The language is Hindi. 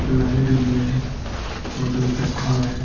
लाइट भी है । और दो गड्ढा है ।